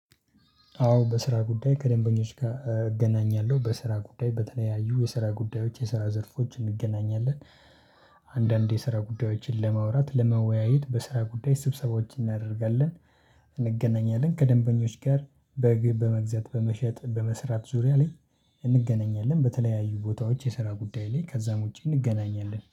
አዎ በስራ ጉዳይ ከደንበኞች ጋር እገናኛለሁ በስራ ጉዳይ በተለያዩ የስራ ጉዳዮች የስራ ዘርፎች እንገናኛለን። አንዳንድ የስራ ጉዳዮችን ለማውራት ለመወያየት በስራ ጉዳይ ስብሰባዎች እናደርጋለን። እንገናኛለን ከደንበኞች ጋር። በመግዛት በመሸጥ በመስራት ዙሪያ ላይ እንገናኛለን። በተለያዩ ቦታዎች የስራ ጉዳይ ላይ ከዛም ውጪ እንገናኛለን